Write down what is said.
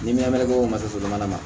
Ni minamɛri boso mana ma